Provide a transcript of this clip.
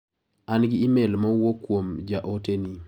An gi imel ma owuk kuom ja ote ni.